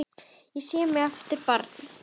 Ég sé mig aftur barn.